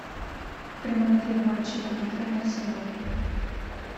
прямой эфир матча тоттенхэм арсенал